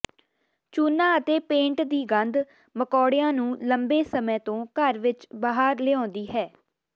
ਚੂਨਾ ਅਤੇ ਪੇਂਟ ਦੀ ਗੰਧ ਮਕੌੜਿਆਂ ਨੂੰ ਲੰਬੇ ਸਮੇਂ ਤੋਂ ਘਰ ਵਿਚ ਬਾਹਰ ਲਿਆਉਂਦੀ ਹੈ